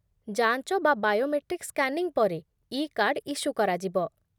ଯାଞ୍ଚ ବା biometric scanning ପରେ, ଇ କାର୍ଡ ଇସ୍ୟୁ କରାଯିବ